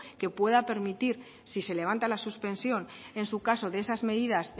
que puedan permitir si se levanta la suspensión en su caso de esas medidas